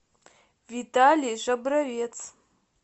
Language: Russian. виталий жабровец